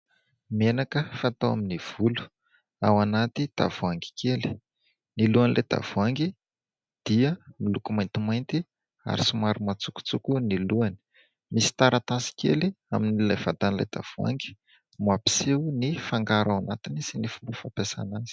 Menaka fatao amin'ny volo ao anaty tavoahangy kely. Ny lohan'ilay tavoahangy dia miloko maintimainty ary somary matsokotsoko ny lohany. Misy taratasy kely amin'ilay vatan'ilay tavoahangy mampiseho ny fangaro ao anatiny sy ny fomba fampiasana azy.